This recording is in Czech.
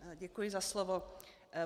Děkuji za slovo.